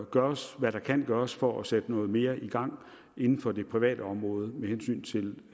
gøres hvad der kan gøres for at sætte noget mere i gang inden for det private område med hensyn til